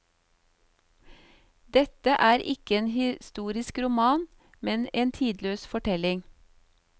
Dette er ikke en historisk roman, men en tidløs fortelling.